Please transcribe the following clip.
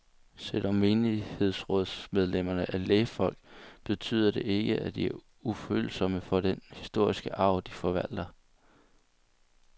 Selvom menighedsrådsmedlemmerne er lægfolk, betyder det ikke, at de er ufølsomme for den historiske arv, de forvalter.